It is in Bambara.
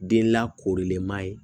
Den lakorilen ma ye